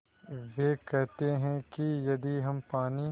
वे कहते हैं कि यदि हम पानी